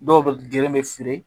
Dɔw bɛ geren bɛ fili